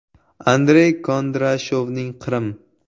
Andrey Kondrashovning “Qrim.